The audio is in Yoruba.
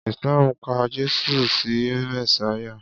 Islam ka Jésù sí Mèsáyà